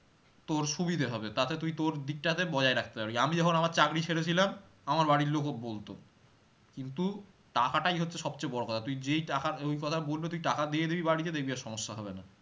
তোর সুবিধে হবে, তাতে তুই তোর দিকটাতে বজায় রাখতে পারবি আমি যখন আমার চাকরি ছেড়েছিলাম আমার এবাড়ির লোকও বলতো কিন্তু টাকাটাই হচ্ছে সবচেয়ে বড়ো কথা, তুই যেই টাকার কথা বলবে তুই টাকা দিয়ে দিবি বাড়িতে দেখবি আর সমস্যা হবে না